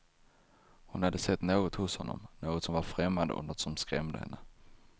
Hon hade sett något hos honom, något som var främmande och som skrämde henne.